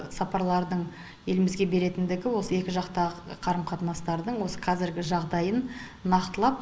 сапарлардың елімізге беретіндігі осы екі жақтағы қарым қатынастардың осы қазіргі жағдайын нақтылап